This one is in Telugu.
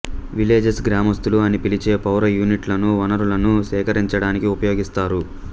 విలేజర్స్ గ్రామస్తులు అని పిలిచే పౌర యూనిట్లను వనరులను సేకరించడానికి ఉపయోగిస్తారు